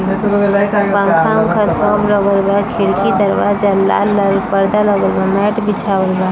बादाम का शॉप लगल बा खिड़कीदरवाज़ा लाल-लाल पर्दा लगल बा मैट बिछाउवल बा।